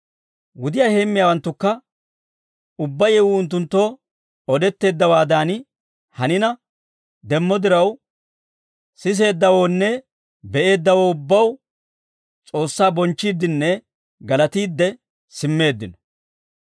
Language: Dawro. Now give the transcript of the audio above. Wudiyaa heemmiyaawanttukka ubbaa yewuu unttunttoo odetteeddawaadan hanina demmo diraw, siseeddawoonne be'eeddawoo ubbaw S'oossaa bonchchiiddinne galatiidde simmeeddino.